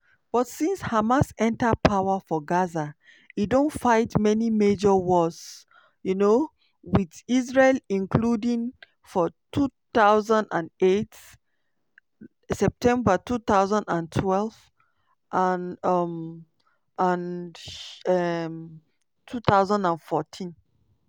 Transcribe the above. but since hamas enta power for gaza e don fight many major wars um wit israel including for 2008-09 2012 and um and um 2014.